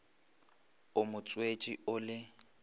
o mo tswetše o le